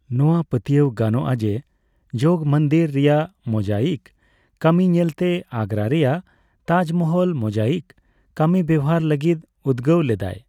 ᱱᱚᱣᱟ ᱯᱟᱹᱛᱭᱟᱹᱣ ᱜᱟᱱᱚᱜᱼᱟ ᱡᱮ ᱡᱚᱜᱚᱢᱚᱱᱫᱤᱨ ᱨᱮᱭᱟᱜ ᱢᱳᱡᱟᱭᱤᱠ ᱠᱟᱹᱢᱤ ᱧᱮᱞᱛᱮ ᱟᱜᱽᱜᱨᱟ ᱨᱮᱭᱟᱜ ᱛᱟᱡᱢᱚᱦᱚᱞ ᱢᱳᱡᱟᱭᱤᱠ ᱠᱟᱹᱢᱤ ᱵᱮᱣᱦᱟᱨ ᱞᱟᱹᱜᱤᱫ ᱩᱫᱽᱜᱟᱹᱣ ᱞᱮᱫᱟᱭ ᱾